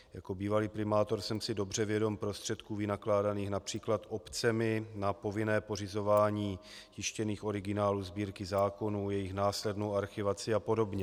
Jako bývalý primátor jsem si dobře vědom prostředků vynakládaných například obcemi na povinné pořizování tištěných originálů Sbírky zákonů, jejich následnou archivaci a podobně.